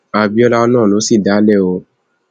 àbíọlá náà ló sì dá a sílẹ o